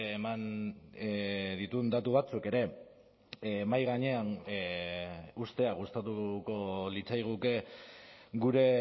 eman dituen datu batzuk ere mahai gainean uztea gustatuko litzaiguke gure